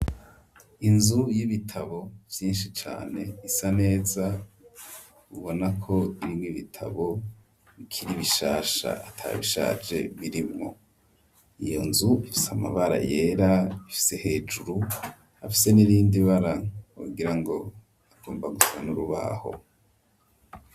Inzu y'ibitabo byinshi cane isa neza ubona ko irini ibitabo bikiri ibishasha atabishaje birimwo iyonzu ifise amabara yera ifise hejuru hafise n'irindi bara wogirango rigomba gusa n'urubaho.